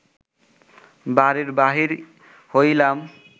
বাড়ির বাহির হইলাম